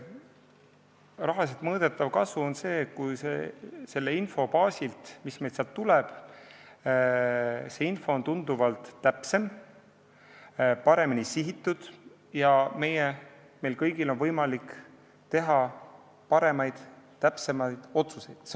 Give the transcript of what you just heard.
Rahaliselt mõõdetav kasu on see, kui info on tunduvalt täpsem, paremini sihitud ja meil kõigil on võimalik teha paremaid ja täpsemaid otsuseid.